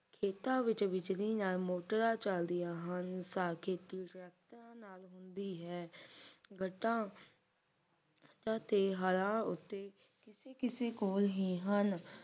ਖੇਤਾਂ ਵਿੱਚ ਬਿਜਲੀ ਦੇ ਨਾਲ ਮੋਟਰਾਂ ਚਲਦੀਆਂ ਹਨ ਤਾਂਕੇ ਖੇਤੀ ਟਰੈਕਟਰਾਂ ਦੇ ਨਾਲ ਹੁੰਦੀ ਹੈ ਵੱਟਾ ਵੱਟਾ ਤੇ ਹੱਡਾਂ ਉੱਤੇ ਕਿਸੇ ਕਿਸੇ ਕੋਲ ਹੀ ਹਨ